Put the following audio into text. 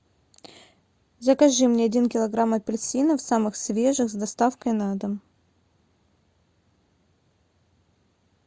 закажи мне один килограмм апельсинов самых свежих с доставкой на дом